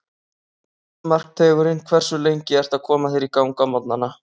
Markteigurinn Hversu lengi ertu að koma þér í gang á morgnanna?